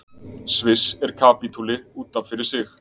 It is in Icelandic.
sviss er kapítuli út af fyrir sig